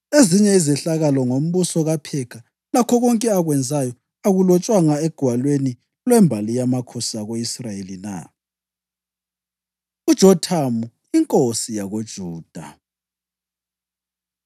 Ezinye izehlakalo ngombuso kaPhekha, lakho konke akwenzayo, akulotshwanga egwalweni lwembali yamakhosi ako-Israyeli na? UJothamu Inkosi YakoJuda